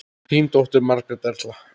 Þín dóttir, Margrét Erla.